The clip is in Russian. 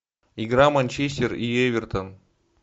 игра манчестер и эвертон